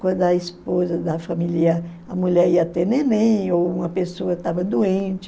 Quando a esposa da família, a mulher ia ter neném ou uma pessoa estava doente,